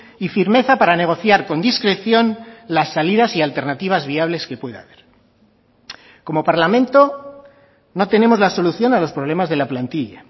y firmeza para negociar con discreción las salidas y alternativas viables que puede haber como parlamento no tenemos la solución a los problemas de la plantilla